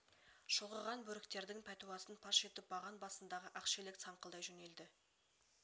шұлғыған бөріктердкң пәтуасын паш етіп баған басындағы ақшелек саңқылдай жөнелді